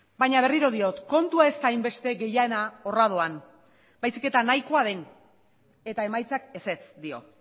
baina berriro diot kontua ez da hainbeste gehiena horra doan baizik eta nahikoa den eta emaitzak ezetz dio